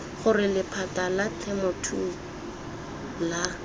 gore lephata la temothuo la